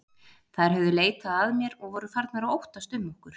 Þær höfðu leitað að mér og voru farnar að óttast um okkur.